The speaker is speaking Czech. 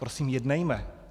Prosím, jednejme.